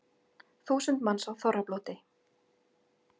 Þúsund manns á þorrablóti